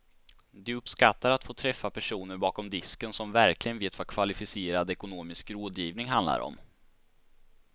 De uppskattar att få träffa personer bakom disken som verkligen vet vad kvalificerad ekonomisk rådgivning handlar om.